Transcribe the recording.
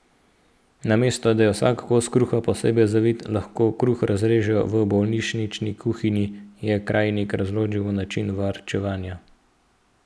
Namesto, da je vsak kos kruha posebej zavit, lahko kruh razrežejo v bolnišnični kuhinji, je Krajnik razložil način varčevanja.